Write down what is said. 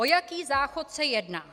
O jaký záchod se jedná?